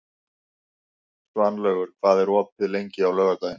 Svanlaugur, hvað er opið lengi á laugardaginn?